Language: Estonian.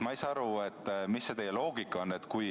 Ma ei saa aru, mis see teie loogika on.